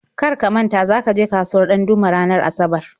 Kar ka manta za ka je kasuwar Ɗandume ranar Asabar!